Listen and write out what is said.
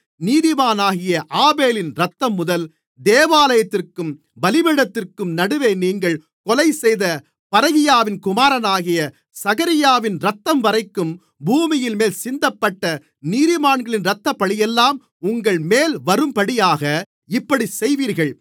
நீதிமானாகிய ஆபேலின் இரத்தம் முதல் தேவாலயத்திற்கும் பலிபீடத்திற்கும் நடுவே நீங்கள் கொலைசெய்த பரகியாவின் குமாரனாகிய சகரியாவின் இரத்தம்வரைக்கும் பூமியின்மேல் சிந்தப்பட்ட நீதிமான்களின் இரத்தப்பழியெல்லாம் உங்கள்மேல் வரும்படியாக இப்படிச் செய்வீர்கள்